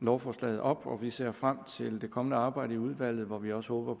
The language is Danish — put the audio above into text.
lovforslaget op og vi ser frem til det kommende arbejde i udvalget hvor vi også håber